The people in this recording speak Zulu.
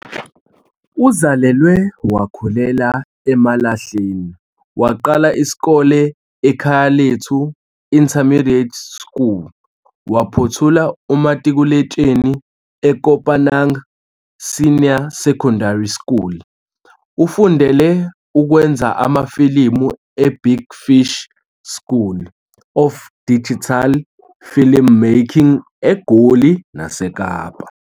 Uzalelwe wakhulela eMalahleni, waqala isikole eKhayalethu Intermediate School waphothula umatikuletsheni eKopanang Senior Secondary School. Ufundele ukwenza amafilimu eBig Fish School of Digital Filmmaking eGoli naseKapa.